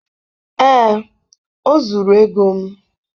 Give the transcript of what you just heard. ee, o zuru ego m.